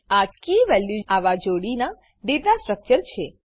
આ keyવેલ્યુ આવા જોડીના ડેટાસ્ટ્રક્ચર છે